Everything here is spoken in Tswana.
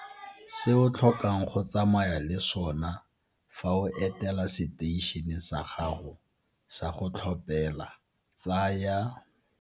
Se o tlhokang go tsamaya le sona fa o etela seteišene sa gago sa go tlhophela tsaya.